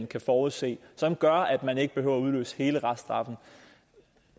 kan forudse og som gør at man ikke behøver at udløse hele reststraffen